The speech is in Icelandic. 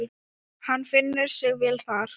Hann finnur sig vel þar.